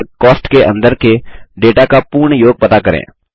शीर्षक कॉस्ट के अंदर के डेटा का पूर्ण योग पता करें